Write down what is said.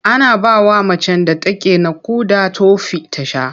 Ana bawa macen da take naƙuda tofi ta sha.